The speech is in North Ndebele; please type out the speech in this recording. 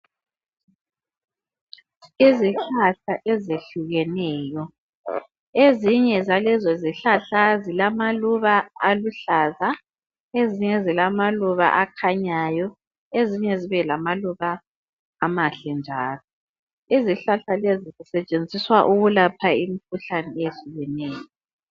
Izihlahla ezihlukeneyo. Ezinye zalezozihlahla zilamaluba aluhlaza, ezinye zilamaluba akhanyayo, ezinye zibe lamaluba amahle njalo. Izihlahla lezi zisetshenziswa ukulapha imikhuhlane ehlukeneyo.